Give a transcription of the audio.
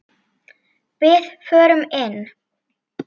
Við förum inn!